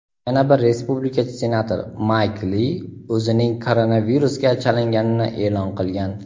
yana bir respublikachi senator Mayk Li o‘zining koronavirusga chalinganini e’lon qilgan.